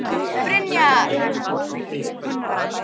Þetta kann að koma ýmsum á óvart.